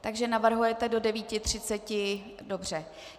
Takže navrhujete do 9.30, dobře.